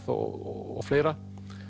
og fleira